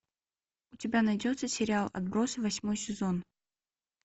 у тебя найдется сериал отбросы восьмой сезон